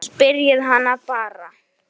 Spyrjið hana bara.